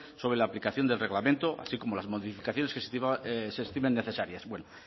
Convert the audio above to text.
sobre la aplicación del reglamento así como las modificaciones que se estimen necesarias bueno